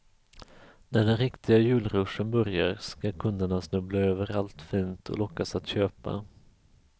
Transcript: När den riktiga julruschen börjar skall kunderna snubbla över allt fint och lockas att köpa.